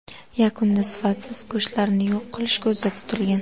Yakunda sifatsiz go‘shtlarni yo‘q qilish ko‘zda tutilgan.